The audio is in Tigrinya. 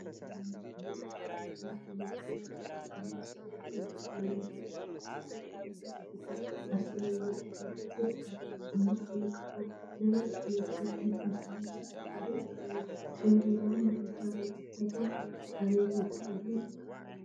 አርማ ቢሄራዊ መረጃን ድሕንነት አገልግሎት ዝብል ፅሑፍ ብእንግሊዘኛን አምሓርኛን ብፃዕዳ ሕብሪ ተፃሒፉ አብ ሰማያዊ ድሕረ ገፅ ይርከብ፡፡ አብ ማእከሉ ከዓ ናይ እትነፍር ዒፍ ምስሊ ብፃዕዳ ሕብሪ አለዎ፡፡ እዞም ቢሄራዊ መረጃ ቤት ፅሕፈቶም አበይ ቦታ እዩ?